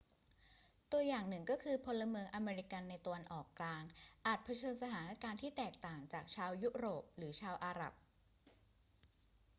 ตัวอย่างหนึ่งก็คือ พลเมืองอเมริกันในตะวันออกกลางอาจเผชิญสถานการณ์ที่แตกต่างจากชาวยุโรปหรือชาวอาหรับ